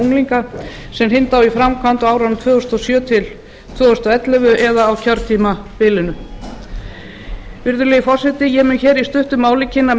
unglinga sem hrinda á í framkvæmd á árunum tvö þúsund og sjö til tvö þúsund og ellefu eða á kjörtímabilinu virðulegi forseti ég mun hér í stuttu máli kynni